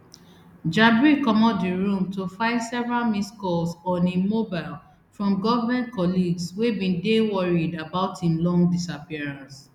jabri comot di room to find several missed calls on im mobile from government colleagues wey bin dey worried about im long disappearance